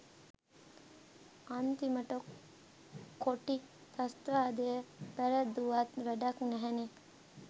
අන්තිමට කොටි ත්‍රස්තවාදය පැරැද්දුවත් වැඩක් නැහැනේ.